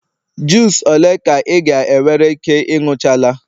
juice ole ka ị ga-ewere Ike ịnuchala?